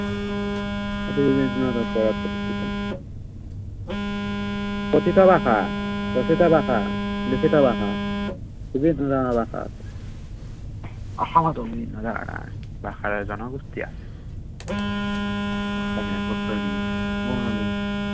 কথিত ভাষা, কথিত ভাষা, লিখিত ভাষা দুটা তিনিটা ভাষা আছে। অসমতো আহ বিভিন্ন ভাষাৰ জনগোষ্ঠী আছে অসমীয়া, কছাৰী, বঙালী।